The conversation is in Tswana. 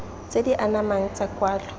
tse di anamang tsa kwalo